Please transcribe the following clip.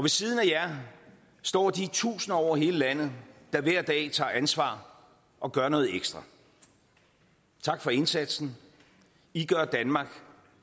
siden af jer står de tusinder over hele landet der hver dag tager ansvar og gør noget ekstra tak for indsatsen i gør danmark